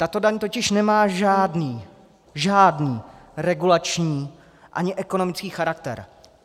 Tato daň totiž nemá žádný, žádný regulační ani ekonomický charakter.